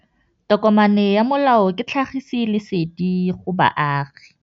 Tokomane ya molao ke tlhagisi lesedi go baagi.